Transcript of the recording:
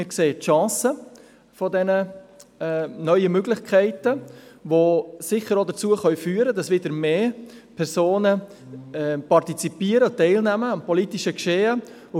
Wir sehen die Chancen dieser neuen Möglichkeiten, die sicher auch dazu führen können, dass wieder mehr Personen am politischen Geschehen teilnehmen.